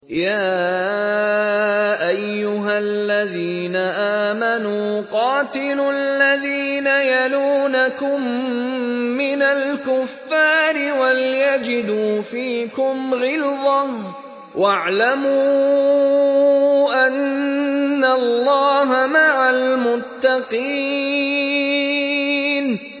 يَا أَيُّهَا الَّذِينَ آمَنُوا قَاتِلُوا الَّذِينَ يَلُونَكُم مِّنَ الْكُفَّارِ وَلْيَجِدُوا فِيكُمْ غِلْظَةً ۚ وَاعْلَمُوا أَنَّ اللَّهَ مَعَ الْمُتَّقِينَ